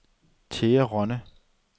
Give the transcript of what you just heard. Thea Rønne